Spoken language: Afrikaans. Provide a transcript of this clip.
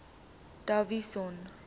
davidson